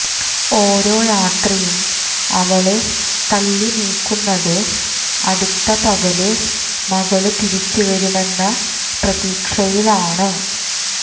ഓരോ രാത്രിയും അവള് തള്ളിനീക്കുന്നത് അടുത്ത പകല് മകള് തിരിച്ചുവരുമെന്ന പ്രതീക്ഷയിലാണ്